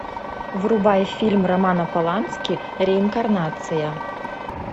врубай фильм романа полански реинкарнация